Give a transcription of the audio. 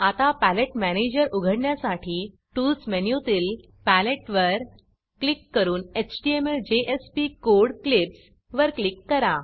आता palette manager उघडण्यासाठी tools मेनूतील पॅलेटवर क्लिक करून htmlजेएसपी कोड क्लिप्स वर क्लिक करा